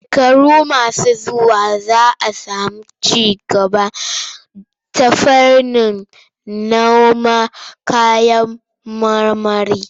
Shekaru masu zuwa za sami ci gaba ta fuskar noman kayan marmari.